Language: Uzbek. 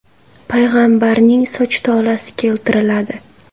payg‘ambarning soch tolasi keltiriladi.